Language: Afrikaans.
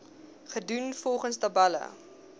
gedoen volgens tabelle